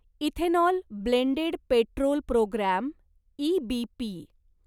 ethanol blended petrol programme EBP